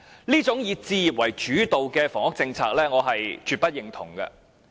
這種"以置業為主導"的房屋政策，我絕不認同。